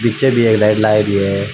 पीछे भी एक लाइट लागरी है।